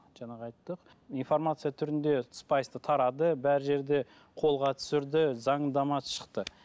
жаңағы айттық информация түрінде спайсты тарады бар жерде қолға түсірді заңдамасы шықты